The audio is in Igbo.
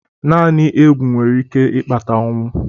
Naanị egwu nwere ike ịkpata ọnwụ.